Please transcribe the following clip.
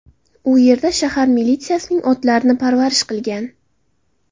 U yerda shahar militsiyasining otlarini parvarish qilgan.